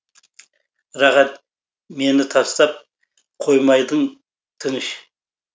рахат мені тастап қоймайдың тыныш